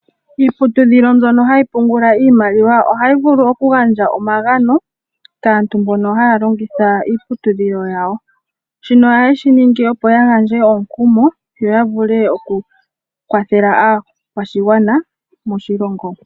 Iiputudhilo mbyono hayi pungula iimaliwa ohayi vulu okugandja omagano kaantu mbono haya longitha iiputudhilo yawo shino ohaye shi ningi opo ya gandje omukumo yo ya vule okukwathela aakwashigwana moshilongo.